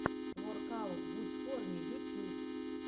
воркаут будь в форме ютьюб